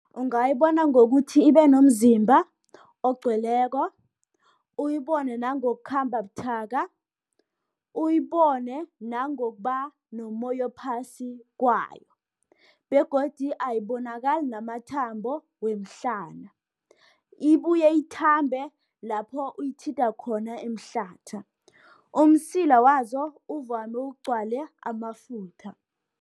Ungayibona ngokuthi ibe nomzimba ogcweleko, uyibone nangokukhamba buthaka. Uyibone nangokuba nomoya ophasi kwayo, begodu ayibonakali namathambo, wemhlana. Ibuye ithambe lapho uyithinta khona emhlatha umsila wazo uvame ugcwale amafutha.